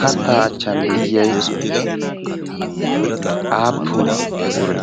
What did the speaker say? kattaa aachchan de7iyai aappun ure?